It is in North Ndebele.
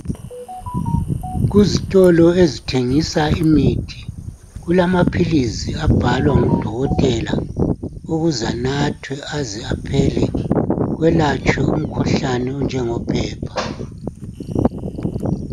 kuzitolo ezithengisa imithi kulama philisi abhalwa ngudokotela ukuze anathwe aze aphele kwelatshwe umkhuhlane onjengo phepha